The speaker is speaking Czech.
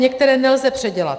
Některé nelze předělat.